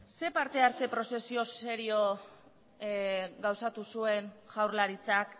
zein partehartze prozesio serio gauzatu zuen jaurlaritzak